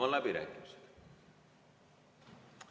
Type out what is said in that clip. Avan läbirääkimised.